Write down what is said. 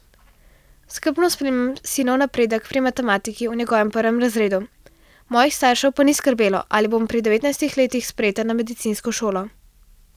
Skrbno spremljam sinov napredek pri matematiki v njegovem prvem razredu, mojih staršev pa ni skrbelo, ali bom pri devetnajstih letih sprejeta na medicinsko šolo.